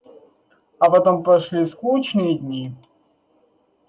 а потом пошли скучные дни